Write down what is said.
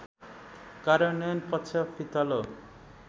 कार्यन्वयन पक्ष फितलो